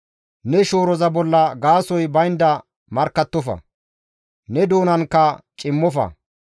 Ne shooroza bolla gaasoy baynda markkattofa; ne doonanka cimmofa.